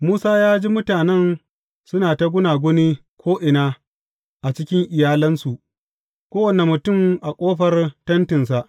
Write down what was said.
Musa ya ji mutanen suna ta gunaguni ko’ina a cikin iyalansu, kowane mutum a ƙofar tentinsa.